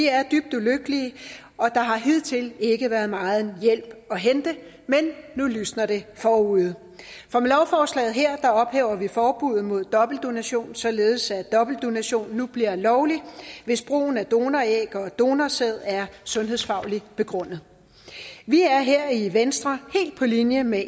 er dybt ulykkelige og der har hidtil ikke være meget hjælp at hente men nu lysner det forude for med lovforslaget her ophæver vi forbuddet mod dobbeltdonation således at dobbeltdonation nu bliver lovligt hvis brugen af donoræg og donorsæd er sundhedsfagligt begrundet vi er her i venstre helt på linje med